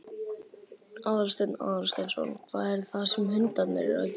Aðalsteinn Aðalsteinsson: Hvað er það sem hundarnir eru að gera?